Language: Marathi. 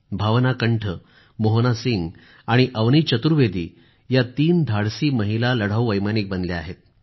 भावना कंठ मोहना सिंह आणि अवनी चतुर्वेदी या तीन धाडसी महिला लढावू वैमानिक बनल्या आहेत